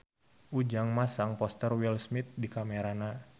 Ujang masang poster Will Smith di kamarna